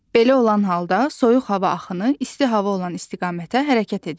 Belə olan halda soyuq hava axını isti hava olan istiqamətə hərəkət edir.